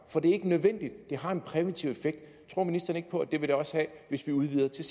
for det er ikke nødvendigt det har en præventiv effekt tror ministeren ikke på at det vil det også have hvis vi udvider til